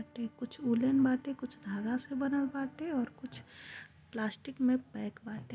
ये कुछ उलेन बाटे। कुछ धागा से बनल बाटे। कुछ प्लास्टिक मे पैक बाटे।